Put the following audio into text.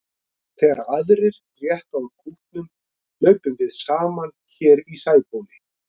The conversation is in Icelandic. Þegar aðrir rétta úr kútnum hlaupum við saman hér í Sæbóli.